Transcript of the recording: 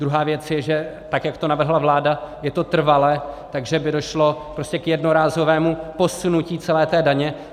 Druhá věc je, že tak jak to navrhla vláda, je to trvale, takže by došlo prostě k jednorázovému posunutí celé té daně.